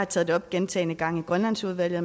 taget det op gentagne gange i grønlandsudvalget